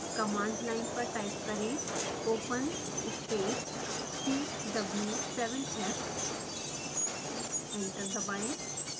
command line पर type करें open space 3w7f enter दबाएँ